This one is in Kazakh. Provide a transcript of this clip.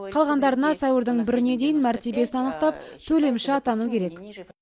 қалғандарына сәуірдің біріне дейін мәртебесін анықтап төлемші атану керек